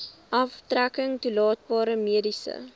aftrekking toelaatbare mediese